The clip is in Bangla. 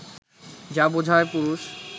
যা বোঝায় পুরুষ